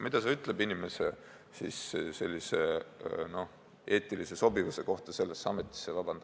Mida see ütleb inimese eetilise sobivuse kohta – vabandage väga!